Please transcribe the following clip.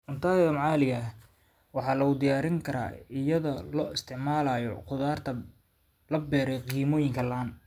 Cuntada maxaliga ah waxaa lagu diyaarin karaa iyada oo la isticmaalayo khudaarta la beeray kimikooyin la'aan.